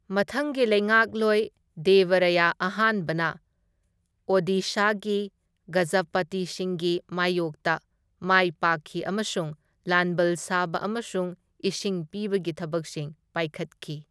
ꯃꯊꯪꯒꯤ ꯂꯩꯉꯥꯛꯂꯣꯏ, ꯗꯦꯕ ꯔꯥꯌ ꯑꯍꯥꯟꯕꯅ ꯑꯣꯗꯤꯁꯥꯒꯤ ꯒꯖꯥꯄꯇꯤꯁꯤꯡꯒꯤ ꯃꯥꯢꯌꯣꯛꯇ ꯃꯥꯏꯄꯥꯛꯈꯤ ꯑꯃꯁꯨꯡ ꯂꯥꯟꯕꯜ ꯁꯥꯕ ꯑꯃꯁꯨꯡ ꯏꯁꯤꯡ ꯄꯤꯕꯒꯤ ꯊꯕꯛꯁꯤꯡ ꯄꯥꯏꯈꯠꯈꯤ꯫